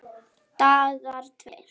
Dagar tveir